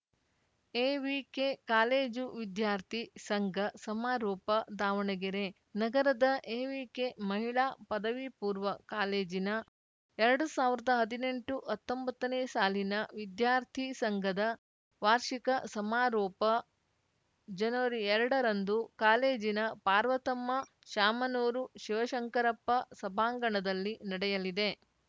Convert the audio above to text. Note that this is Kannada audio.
ಎವಿಕೆ ಕಾಲೇಜು ವಿದ್ಯಾರ್ಥಿ ಸಂಘ ಸಮಾರೋಪ ದಾವಣಗೆರೆ ನಗರದ ಎವಿಕೆ ಮಹಿಳಾ ಪದವಿ ಪೂರ್ವ ಕಾಲೇಜಿನ ಎರಡು ಸಾವಿರದ ಹದ್ನೆಂಟುಹತ್ತೊಂಬತ್ತನೇ ಸಾಲಿನ ವಿದ್ಯಾರ್ಥಿ ಸಂಘದ ವಾರ್ಷಿಕ ಸಮಾರೋಪ ಜನವರಿಎರಡರಂದು ಕಾಲೇಜಿನ ಪಾರ್ವತಮ್ಮ ಶಾಮನೂರು ಶಿವಶಂಕರಪ್ಪ ಸಭಾಂಗಣದಲ್ಲಿ ನಡೆಯಲಿದೆ